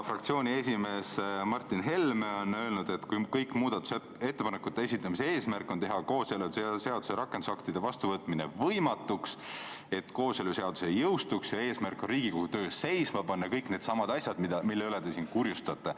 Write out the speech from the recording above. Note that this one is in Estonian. Fraktsiooni esimees Martin Helme ütles, et nende muudatusettepanekute esitamise eesmärk oli teha kooseluseaduse rakendusaktide vastuvõtmine võimatuks, et kooseluseadus ei jõustuks, ja eesmärk on Riigikogu töö seisma panna – kõik needsamad asjad, mille pärast te siin kurjustate.